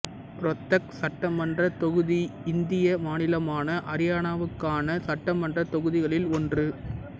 ரோத்தக் சட்டமன்றத் தொகுதி இந்திய மாநிலமான அரியானாவுக்கான சட்டமன்றத் தொகுதிகளில் ஒன்று